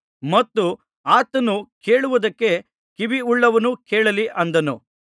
ಮತ್ತು ಆತನು ಕೇಳುವುದಕ್ಕೆ ಕಿವಿಯುಳ್ಳವನು ಕೇಳಲಿ ಅಂದನು